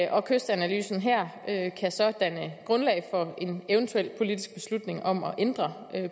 og kystanalysen her kan så danne grundlag for en eventuel politisk beslutning om at ændre